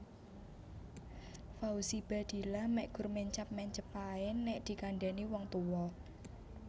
Fauzi Baadila mek gur mencap mencep ae nek dikandhani wong tuwa